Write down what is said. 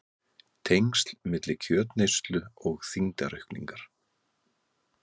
Tengsl milli kjötneyslu og þyngdaraukningar